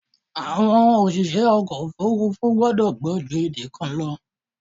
Àwọn òṣìṣẹ́ ọkọ̀ òfúrúfú gbọ́dọ̀ gbọ́ ju èdè kan lọ.